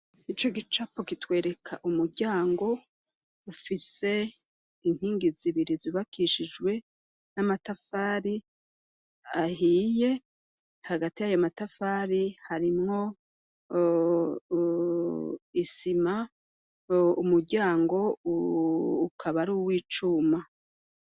Ico gicapo kitwereka umuryango ufise inkingi zibiri, zubakishijwe n'amatafari ahiye. Hagati y'amatafari, harimwo isima, umuryango ukaba ari uw'icuma.